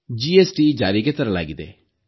GST ಜಾರಿಗೆ ತರಲಾಗಿದೆ